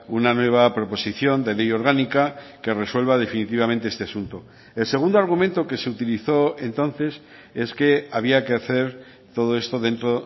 una nueva proposición de ley orgánica que resuelva definitivamente este asunto el segundo argumento que se utilizó entonces es que había que hacer todo esto dentro